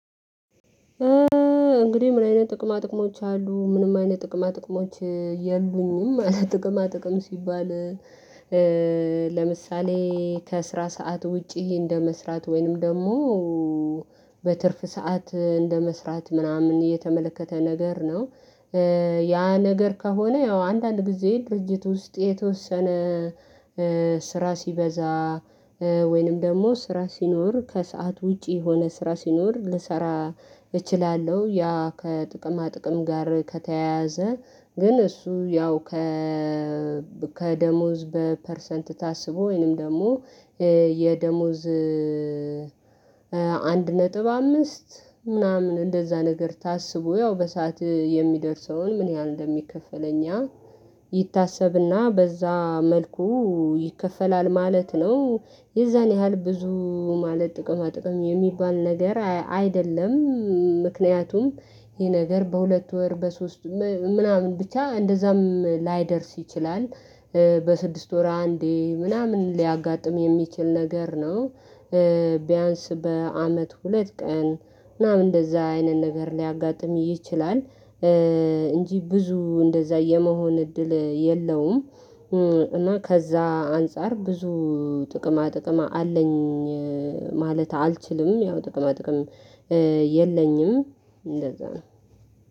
እንግዲህ ምን አይነት ጥቅማ ጥቅሞች አሉ ምንም አይነት ጥቅማ ጥቅሞች የሉኝም አለ ጥቅማ ጥቅም ሲባል። ለምሳሌ ከስራ ሰዓት ውጪ እንደመስራት ወይንም ደግሞ በትርፍ ሰዓት እንደመስራት ምናምን የተመለከተ ነገር ነው። ያ ነገር ከሆነ ያው አንዳንድ ጊዜ ድርጅት ውስጥ የተወሰነ ስራ ሲበዛ ወይንም ደግሞ ስራ ሲኖር ከሰአት ውጪ የሆነ ስራ ሲኖር ልሰራ እችላለሁ። ያ ከጥቅማ ጥቅም ጋር ከተያያዘ ግን እሱ ያው ከ ከደሞዝ በፐርሰንት ታስቦ ወይንም ደግሞ የደሞዝ አንድ ነጥብ አምስት ምናምን እንደዛ ነገር ታስቦ ያው በሰአት የሚደርሰውን ምን ያህል እንደሚከፈለኝ ይታሰብና በዛ መልኩ ይከፈላል ማለት ነው። የዛን ያህል ብዙ ማለት ጥቅማ ጥቅም የሚባል ነገር አይደለም። ምክንያቱም ይሄ ነገር በሁለት ወር በሶስት ምናምን ብቻ እንደዛም ላይደርስ ይችላል። በስድስት ወራ አንዴ ምናምን ሊያጋጥም የሚችል ነገር ነው። ቢያንስ በአመት ሁለት ቀን ምናምን እንደዛ አይነት ነገር ሊያጋጥም ይችላል። እንጂ ብዙ እንደዛ የመሆን እድል የለውም። እና ከዛ አንፃር ብዙ ጥቅማ ጥቅማ አለኝ ማለት አልችልም ያው ጥቅማ ጥቅም የለኝም እንደዛ ነው